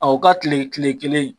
Aw ka kile kile kelen